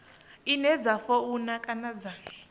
ine dza funa kana dza